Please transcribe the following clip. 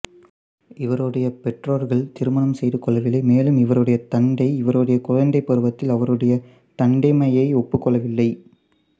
இவருடைய பெற்றோர்கள் திருமணம் செய்துகொள்ளவில்லை மேலும் இவருடைய தந்தை இவருடைய குழந்தைப் பருவத்தில் அவருடைய தந்தைமையை ஒப்புக்கொள்ளவில்லை